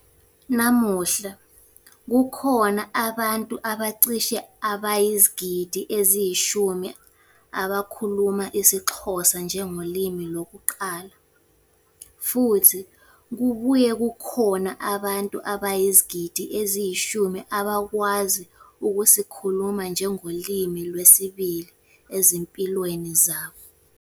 Namuhla, kukhona abantu abacishe abayizigidi eziyishumi abakhuluma isiXhosa njengolimi lokuqala, futhi kubuye kukhona abantu abayizigidi eziyishumi abakwazi ukusikhuluma njengolimi lwesibili ezimpilweni zabo.